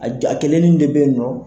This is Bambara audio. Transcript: A ja a kelenin de bɛ yen nɔ.